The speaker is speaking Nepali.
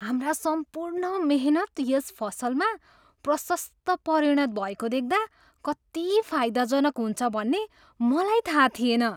हाम्रा सम्पूर्ण मेहनत यस फसलमा प्रशस्त परिणत भएको देख्दा कति फाइदाजनक हुन्छ भन्ने मलाई थाहा थिएन।